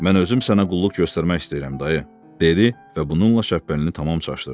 Mən özüm sənə qulluq göstərmək istəyirəm, dayı, dedi və bununla Şəbpəlini tamam çaşdırdı.